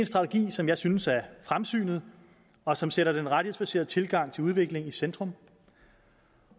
strategi som jeg synes er fremsynet og som sætter den rettighedsbaserede tilgang til udvikling i centrum